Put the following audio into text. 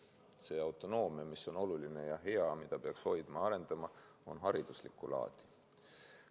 See autonoomia, mis on oluline ja hea, mida peaks hoidma ja arendama, on hariduslikku laadi.